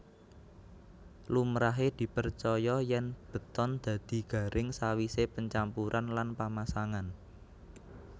Lumrahe dipercaya yèn beton dadi garing sawisé pencampuran lan pamasangan